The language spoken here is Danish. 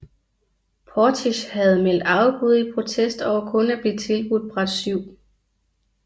Portisch havde meldt afbud i protest over kun at blive tilbudt bræt 7